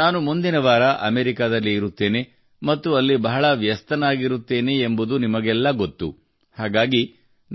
ನಾನು ಮುಂದಿನ ವಾರ ಅಮೆರಿಕಾದಲ್ಲಿ ಇರುತ್ತೇನೆ ಮತ್ತು ಅಲ್ಲಿ ಬಹಳ ವ್ಯಸ್ತವಾಗಿರುತ್ತೇನೆ ಎಂಬುದು ನಿಮಗೆಲ್ಲ ಗೊತ್ತು ಹಾಗಾಗಿ